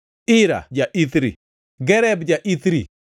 Ira ja-Ithri, Gareb ja-Ithri,